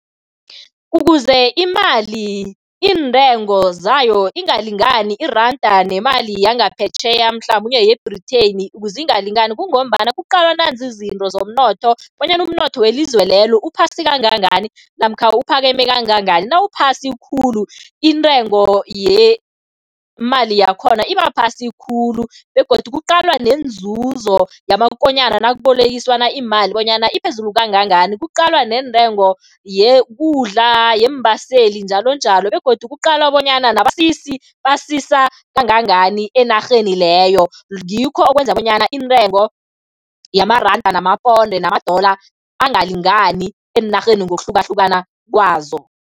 Ukuze imali, iintengo zayo ingalingani iranda nemali yangaphetjheya mhlamunye ye-Britain, ukuze ingalingani kungombana kuqalwa nanzi izinto zomnotho bonyana umnotho welizwe lelo uphasi kangangani namkha uphakeme kangangani. Nawuphasi khulu, intengo yemali yakhona iba phasi khulu begodu kuqalwa nenzuzo yamakonyana nakubolekiswana iimali bonyana iphezulu kangangani. Kuqalwa neentengo yekudla, yeembaseli, njalonjalo begodu kuqalwa bonyana nabasisi basisa kangangani enarheni leyo, ngikho okwenza bonyana intengo yamaranda, namaponde, nama-dollar angalingani eenarheni ngokuhlukahlukana kwazo.